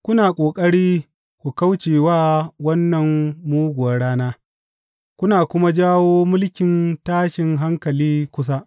Kuna ƙoƙari ku kauce wa wannan muguwar rana kuna kuma jawo mulkin tashin hankali kusa.